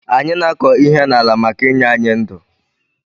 Anyi na akọ ihe na ala maka inye anyi ndu